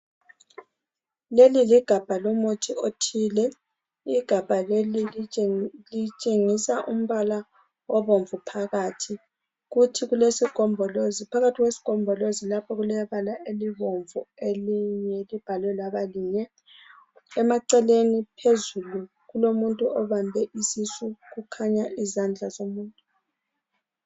Leli ligabha lomuthi othile. Igabha leli litshengisa umbala obomvu phakathi kulesigombolozi. Phakathi kwesigombolozi lapha kulebala elibomvu elinye libhalwe labanye. Emaceleni phezulu kulomuntu obambe isisu kukhanya izandla zomuntu.